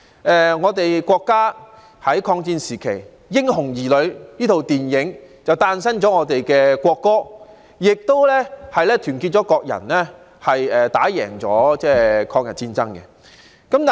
又例如國家以抗戰時期為背景的電影《風雲兒女》，不但誕生了現在的國歌，亦團結了國民取得抗日戰爭的勝利。